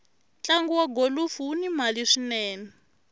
ntlagu wa golufu wuni mali swinene